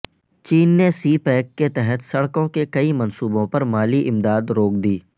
چین نے سی پیک کے تحت سڑکوں کے کئی منصوبوں پر مالی امداد روک دی